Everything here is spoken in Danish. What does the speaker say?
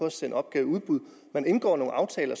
at sende opgaver i udbud man indgår nogle aftaler